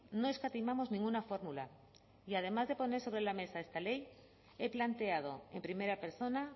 no escatimamos ninguna fórmula y además de poner sobre la mesa esta ley he planteado en primera persona